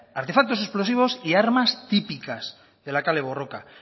artefactos explosivos y armas típicas de la kale borroka